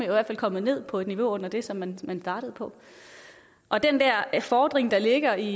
hvert fald kommet ned på et niveau under det som man man startede på og den der fordring der ligger i